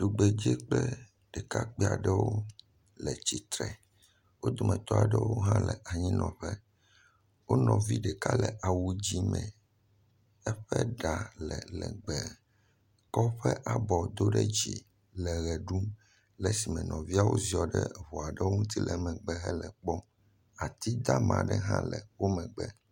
Tugbedze kple ɖekakpui aɖewo le tsitre, wo dometɔ aɖewo hã le anyinɔƒe, wo nɔvi ɖeka le awu dzɛ̃ me, eƒe ɖa le legbee, kɔ eƒe abɔ do ɖe dzi le ʋe ɖum le esime nɔviawo ziɔ ɖe ŋu aɖewo ŋuti le megbe le ekpɔm, ati dama aɖe hã le wo megbe.